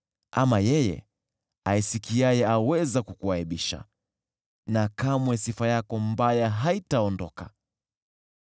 ama yeye aisikiaye aweza kukuaibisha na kamwe sifa yako mbaya haitaondoka.